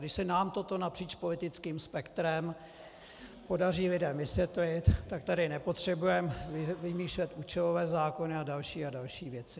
Když se nám toto napříč politickým spektrem podaří lidem vysvětlit, tak tady nepotřebujeme vymýšlet účelové zákony a další a další věci.